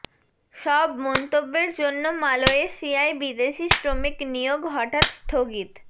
সব মন্তব্যের জন্য মালয়েশিয়ায় বিদেশী শ্রমিক নিয়োগ হঠাৎ স্থগিত